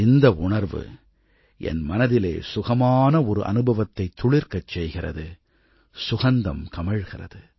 இந்த உணர்வு என் மனதிலே சுகமான ஒரு அனுபவத்தைத் துளிர்க்கச் செய்கிறது சுகந்தம் கமழ்கிறது